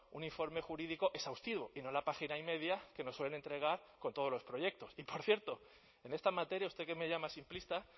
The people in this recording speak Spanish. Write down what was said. un informe jurídico exhaustivo y no la página y media que nos suelen entregar con todos los proyectos y por cierto en esta materia usted que me llama simplista